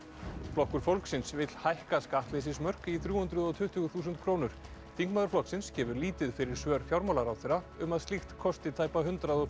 flokkur fólksins vill hækka skattleysismörk í þrjú hundruð og tuttugu þúsund krónur þingmaður flokksins gefur lítið fyrir svör fjármálaráðherra um að slíkt kosti tæpa hundrað og